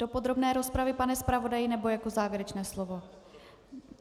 Do podrobné rozpravy, pane zpravodaji, nebo jako závěrečné slovo?